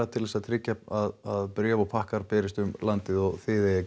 til þess að tryggja að bréf og pakkar dreifist um landið og þið eigið að